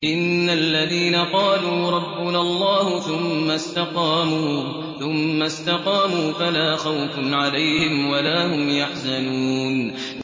إِنَّ الَّذِينَ قَالُوا رَبُّنَا اللَّهُ ثُمَّ اسْتَقَامُوا فَلَا خَوْفٌ عَلَيْهِمْ وَلَا هُمْ يَحْزَنُونَ